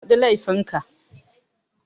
Faɗi laifin ka